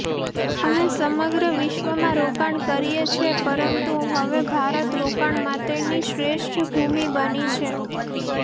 અમે સમગ્ર વિશ્વમાં રોકાણ કરીયે છે પરંતુ હવે ભારત રોકાણ માટેની શ્રેષ્ઠ ભૂમિ બની છે